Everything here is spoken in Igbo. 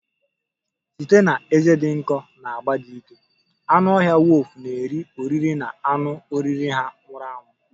Site na ezé dị nkọ na agba dị ike, anụ ọhịa wulfu na-eri oriri na anụ oriri ha nwụrụ anwụ